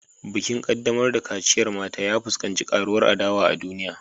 Bikin kaddamar da kaciyar mata, ya fuskanci karuwar adawa a duniya